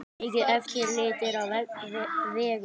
Mikið eftirlit er á vegunum